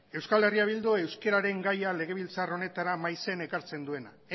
euskal herria bildu euskeraren gaia legebiltzar honetara maizen ekartzen duena